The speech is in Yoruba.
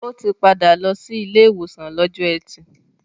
Ó ti padà lọ sí ilé ìwòsàn lọ́jọ́ ẹtì.